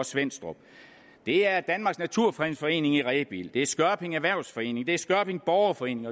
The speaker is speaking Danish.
svenstrup det er danmarks naturfredningsforening i rebild det er skørping erhvervsforening det er skørping borgerforening